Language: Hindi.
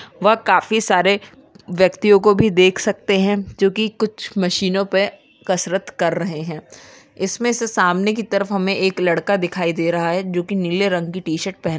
वह काफी सारे व्यक्तियों को भी देख सकते हैं जो कि कुछ मशीनों पे कसरत कर रहे हैं इसमें से सामने की तरफ हमें एक लड़का दिखाई दे रहा है जो की नीले रंग की टी-शर्ट पहन --